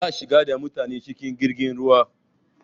Za a shigar da mutane cikin jirgin ruwa.